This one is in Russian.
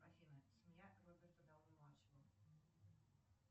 афина семья роберта дауни младшего